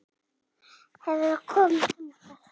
Hefurðu komið þangað?